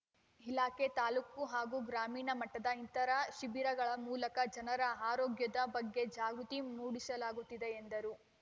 ಇಲಾಖೆ ತಾಲ್ಲೂಕು ಹಾಗೂ ಗ್ರಾಮೀಣ ಮಟ್ಟದಲ್ಲಿ ಇಂತರಹ ಶಿಬಿರಗಳ ಮೂಲಕ ಜನರ ಆರೋಗ್ಯದ ಬಗ್ಗೆ ಜಾಗೃತಿ ಮೂಡಿಸಲಾಗುತ್ತಿದೆ ಎಂದರು